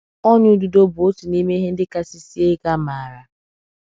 Ọnyà ududo bụ òtù n’ime ihe ndị kasị sie ike a maara.